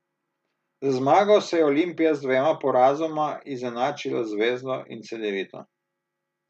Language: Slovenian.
Z zmago se je Olimpija z dvema porazoma izenačila z Zvezdo in Cedevito.